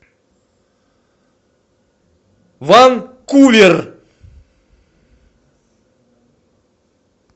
ванкувер